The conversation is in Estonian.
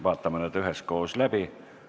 Vaatame nad üheskoos läbi.